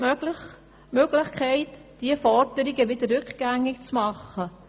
Kann diese Forderungen wieder rückgängig gemacht werden?